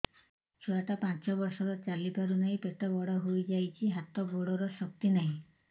ଛୁଆଟା ପାଞ୍ଚ ବର୍ଷର ଚାଲି ପାରୁନାହଁ ପେଟ ବଡ ହୋଇ ଯାଉଛି ହାତ ଗୋଡ଼ର ଶକ୍ତି ନାହିଁ